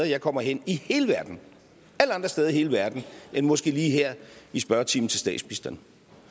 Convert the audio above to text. jeg kommer hen i hele verden alle andre steder i hele verden end måske lige her i spørgetimen til statsministeren